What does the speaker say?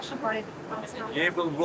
Bir yaşım var idi.